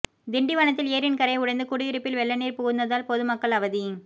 திண்டிவனத்தில் ஏரியின் கரை உடைந்து குடியிருப்பில் வெள்ள நீர் புகுந்ததால் பொதுமக்கள் அவதி